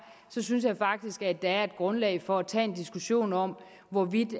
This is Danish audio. synes jeg faktisk at der er et grundlag for at tage en diskussion om hvorvidt